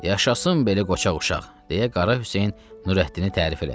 Yaşasın belə qoçaq uşaq, deyə Qara Hüseyn Nurəddini tərif elədi.